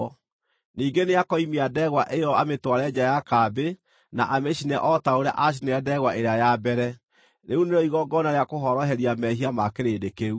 Ningĩ nĩakoimia ndegwa ĩyo amĩtware nja ya kambĩ na amĩcine o ta ũrĩa aacinire ndegwa ĩrĩa ya mbere. Rĩu nĩrĩo igongona rĩa kũhoroheria mehia ma kĩrĩndĩ kĩu.